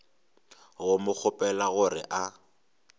go mo kgopela gore a